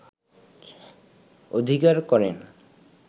অধিকার করেন